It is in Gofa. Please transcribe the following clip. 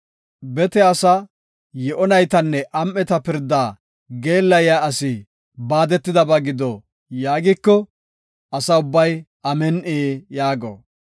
“Bete asaa, yi7o naytanne am7eta pirda geellayiya asi baadetidaysa gido” yaagiko, Asa ubbay, “Amin7i” yaago.